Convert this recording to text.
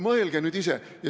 Mõelge nüüd ise!